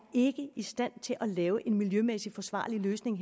i stand til at lave en miljømæssigt forsvarlig løsning